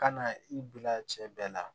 Ka na i bila cɛ bɛɛ la